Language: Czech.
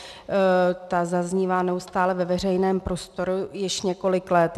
Ta zaznívá neustále ve veřejném prostoru již několik let.